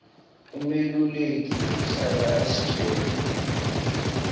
umeluleki uhlala asitjela